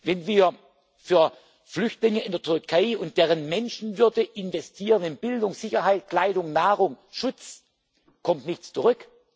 Sinne gibt. Wenn wir für Flüchtlinge in der Türkei und deren Menschenwürde in Bildung, Sicherheit, Kleidung, Nahrung, Schutz investieren, kommt nichts